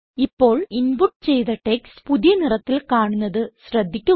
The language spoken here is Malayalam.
ഇപ്പോൾ ഇൻപുട്ട് ചെയ്ത ടെക്സ്റ്റ് പുതിയ നിറത്തിൽ കാണുന്നത് ശ്രദ്ധിക്കുക